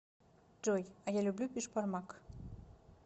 джой а я люблю бишбармак